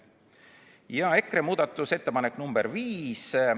Ja nüüd veel üks EKRE muudatusettepanek, ettepanek nr 5.